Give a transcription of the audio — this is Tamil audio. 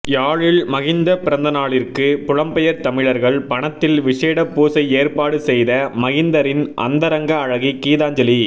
யாழில் மகிந்த பிறந்தநாளிற்கு புலம்பெயர் தமிழர்கள் பணத்தில் விஷேட பூசை ஏற்பாடு செய்த மகிந்தரின் அந்தரங்க அழகி கீதாஞ்சலி